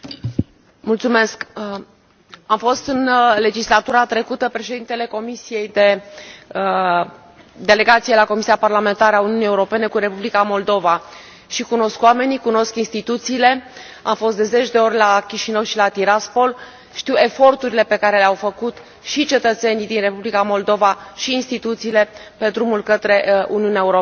Domnule președinte, am fost în legislatura trecută președintele Delegației la Comisia parlamentară a Uniunii Europene cu Republica Moldova și cunosc oamenii, cunosc instituțiile, am fost de zeci de ori la Chișinău și la Tiraspol, știu eforturile pe care le au făcut și cetățenii din Republica Moldova și instituțiile, pe drumul către Uniunea Europeană.